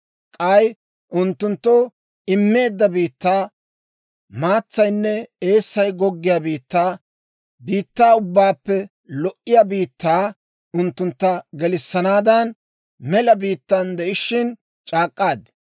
K'ay unttunttoo immeedda biittaa, maatsaynne eessay goggiyaa biittaa, biittaa ubbaappe lo"iyaa biittaa unttuntta gelissennaadan mela biittan de'ishshin c'aak'k'aad.